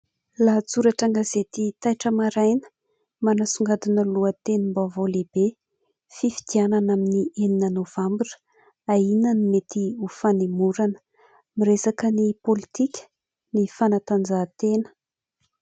Lahatsoratra an-gazety Taitra araina manasongadina lohatenim-baovao lehibe fifidianana amin'ny enina novambra ahiana ny mety ho fanemorana. Miresaka ny pôlitika ny fanatanjahatena.